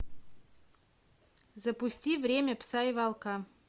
запусти время пса и волка